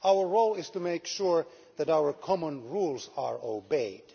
Our role is to make sure that our common rules are obeyed.